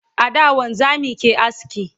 a da wanzamai ke aske